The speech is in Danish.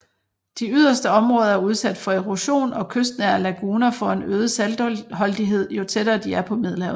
De yderste områder er udsat for erosion og kystnære laguner får en øget saltholdighed jo tættere de er på Middelhavet